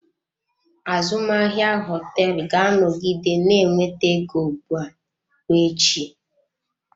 Azụmahịa hoteelu ga-anọgide na-enweta ego ugbu a ruo echi.